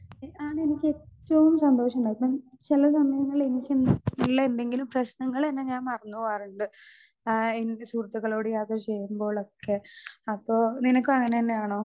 Speaker 2 അതെനിക്കേറ്റോം സന്തോഷണ്ടാവും ഇപ്പം ചെല സമയങ്ങളിലെനിക്കെ ഇള്ളെ എന്തെങ്കിലും പ്രശ്നങ്ങളെന്നെ ഞാൻ മറന്ന് പോവാറിണ്ട്. ആ എന്റെ സുഹൃത്തുക്കളോട് യാത്ര ചെയ്യുമ്പോളൊക്കെ അപ്പൊ നിനക്കും അങ്ങനന്നെയാണോ.